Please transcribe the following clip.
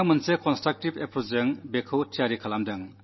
ഉവ്വ് കുട്ടി സൃഷ്ടിപരമായ വീക്ഷണത്തോടെ അത് അവതരിപ്പിച്ചു